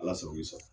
Ala sago i sago